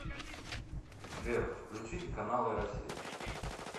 сбер включите каналы россия